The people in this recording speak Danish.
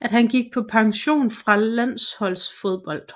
at han gik på pension fra landsholdsfodbold